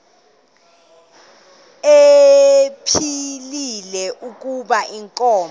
ephilile kuba inkomo